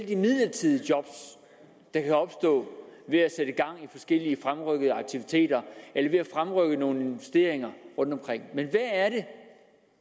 de midlertidige job der kan opstå ved at sætte gang i forskellige fremrykkede aktiviteter eller ved at fremrykke nogle investeringer rundtomkring men